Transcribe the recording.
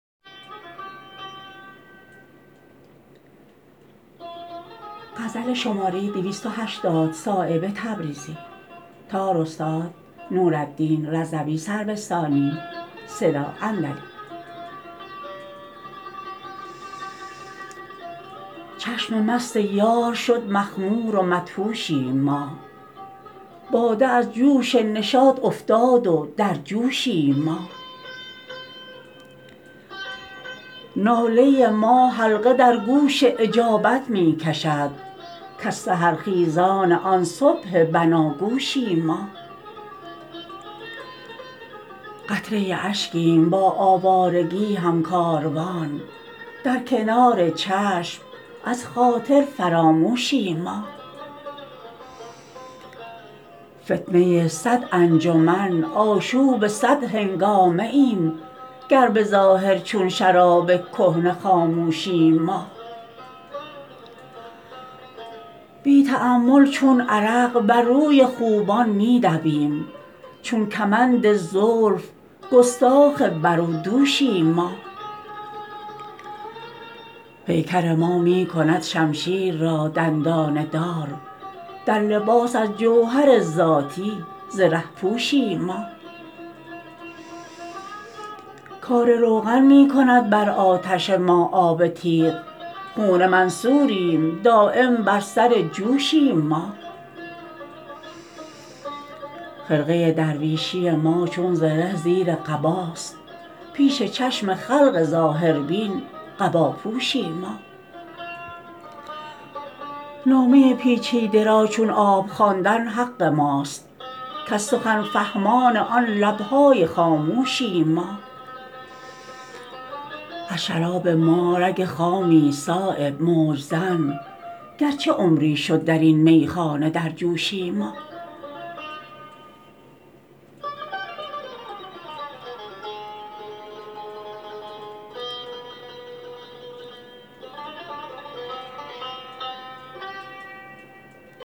چشم مست یار شد مخمور و مدهوشیم ما باده از جوش نشاط افتاد و در جوشیم ما ناله ما حلقه در گوش اجابت می کشد کز سحرخیزان آن صبح بناگوشیم ما قطره اشکیم با آوارگی هم کاروان در کنار چشم از خاطر فراموشیم ما فتنه صد انجمن آشوب صد هنگامه ایم گر به ظاهر چون شراب کهنه خاموشیم ما بی تأمل چون عرق بر روی خوبان می دویم چون کمند زلف گستاخ بر و دوشیم ما پیکر ما می کند شمشیر را دندانه دار در لباس از جوهر ذاتی زره پوشیم ما کار روغن می کند بر آتش ما آب تیغ خون منصوریم دایم بر سر جوشیم ما خرقه درویشی ما چون زره زیر قباست پیش چشم خلق ظاهربین قباپوشیم ما نامه پیچیده را چون آب خواندن حق ماست کز سخن فهمان آن لبهای خاموشیم ما از شراب ما رگ خامی است صایب موج زن گرچه عمری شد درین میخانه در جوشیم ما